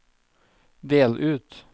del ut